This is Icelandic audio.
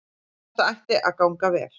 Þetta ætti að ganga vel